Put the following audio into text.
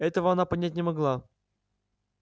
этого она понять не могла